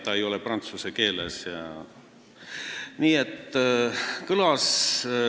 Ta ei ole prantsuse keeles jne.